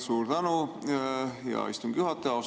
Suur tänu, hea istungi juhataja!